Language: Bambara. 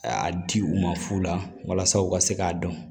A di u ma fu la walasa u ka se k'a dɔn